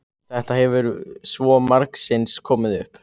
Þetta hefur svo margsinnis komið upp.